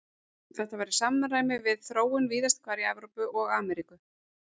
Þetta var í samræmi við þróun víðast hvar í Evrópu og Ameríku.